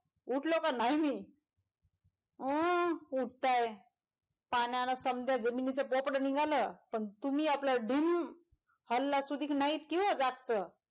उठलो का न्हाय मी अं उठतंय पाण्यानं समदं जमीनच पोपड निघालं पण तुमि आपलं डिंम हल्ला सुधिक न्हायी किंवा जागचं.